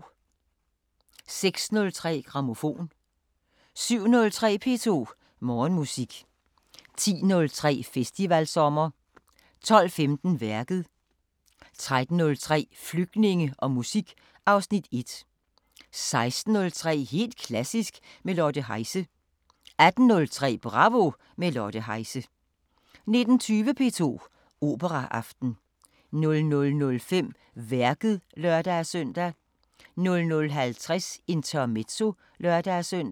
06:03: Grammofon 07:03: P2 Morgenmusik 10:03: Festivalsommer 12:15: Værket 13:03: Flygtninge og musik (Afs. 1) 16:03: Helt klassisk med Lotte Heise 18:03: Bravo – med Lotte Heise 19:20: P2 Operaaften 00:05: Værket (lør-søn) 00:50: Intermezzo (lør-søn)